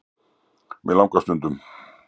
Mig langar stundum.